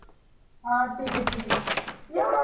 हा ठिक आहे ठिक आहे. ये मग